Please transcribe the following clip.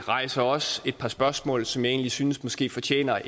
rejser også et par spørgsmål som jeg egentlig synes måske fortjener